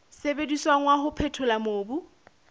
sebediswang wa ho phethola mobu